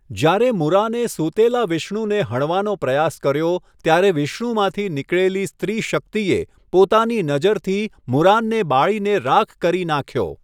જ્યારે મુરાને સૂતેલા વિષ્ણુને હણવાનો પ્રયાસ કર્યો ત્યારે વિષ્ણુમાંથી નીકળેલી સ્ત્રી શક્તિએ પોતાની નજરથી મુરાનને બાળીને રાખ કરી નાખ્યો.